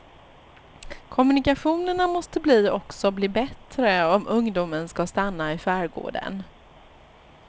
Kommunikationerna måste bli också bli bättre om ungdomen skall stanna i skärgården.